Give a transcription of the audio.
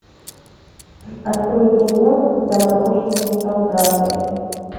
открой кино замороженные солдаты